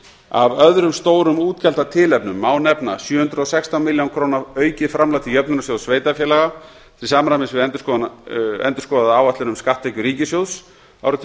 af öðrum stórum útgjaldatilefnum má nefna sjö hundruð og sextán milljón króna aukið framlag til jöfnunarsjóðs sveitarfélaga til samræmis við endurskoðaða áætlun um skatttekjur ríkissjóðs árið tvö þúsund og